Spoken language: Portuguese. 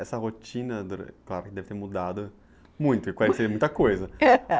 Essa rotina, claro, deve ter mudado muito, porque coincide com muita coisa.